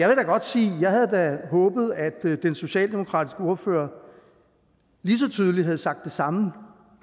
jeg havde håbet at den socialdemokratiske ordfører lige så tydeligt havde sagt det samme